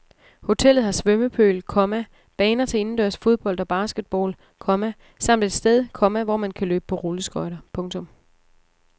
Hotellet har svømmepøl, komma baner til indendørs fodbold og basketball, komma samt et sted, komma hvor man kan løbe på rulleskøjter. punktum